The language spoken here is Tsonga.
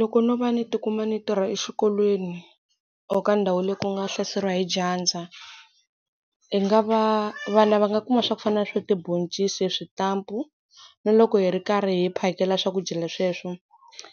Loko no va ni ti kuma ni tirha exikolweni or ka ndhawu leyi ku nga hlaseriwa hi dyandza. Hi nga va vana va nga kuma swa ku fana na swa tibhoncisi, switampu. Na loko hi ri karhi hi phakela swakudya sweswo,